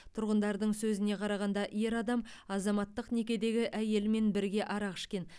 тұрғындардың сөзіне қарағанда ер адам азаматтық некедегі әйелімен бірге арақ ішкен